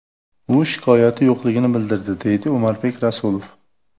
U shikoyati yo‘qligini bildirdi”, deydi Umarbek Rasulov.